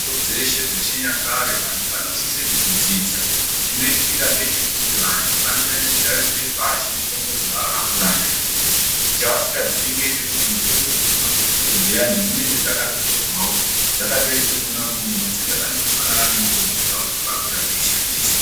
Mitombo dzeshe dzechi nyakare vantu vano sise kudzi dzidza chino itika ngechekuti vantu vano nyanye ku tarisire pashi mutombo dza aka kura nadzo cha vasika zii ngechekuti mutombo dzemu mabhotoro dziyani dzinenge dzakato torwawo dzakato iswa mwona imwomwo asi dzakando fanana ne mutombo dzavo dza vaka kura vei shandisa.